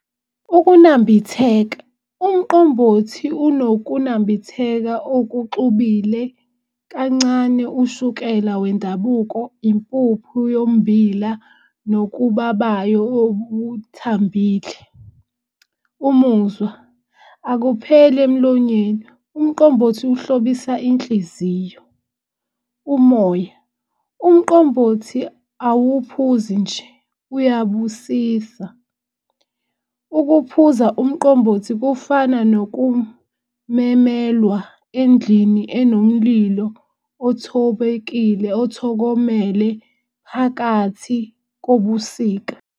Ukunambitheka, umqombothi unokunambitheka okuxhubile kancane ushukela wendabuko, impuphu yommbila, nokubabayo obuthambile. Umuzwa, akupheli emlonyeni umqombothi ukuhlobisa inhliziyo. Umoya, umqombothi awuphuzi nje uyabusisa. Ukuphuza umqombothi kufana nokumemelwa endlini enomlilo, othobekile othokomele phakathi kobusika.